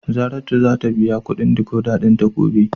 Saratu zata biya kudin " decoder" dinta gobe.